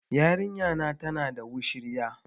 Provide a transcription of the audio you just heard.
Yarinya na tana da wushirya